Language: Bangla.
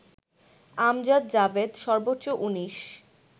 আমজাদ জাভেদ সর্বোচ্চ ১৯